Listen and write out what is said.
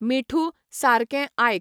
मिठू, सारकें आयक.